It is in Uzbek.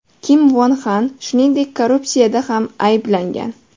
Kim Von Xan, shuningdek, korrupsiyada ham ayblangan.